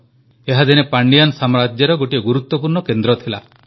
ଏହା ଦିନେ ପାଣ୍ଡିଆନ୍ ସାମ୍ରାଜ୍ୟର ଗୋଟିଏ ଗୁରୁତ୍ୱପୂର୍ଣ୍ଣ କେନ୍ଦ୍ର ଥିଲା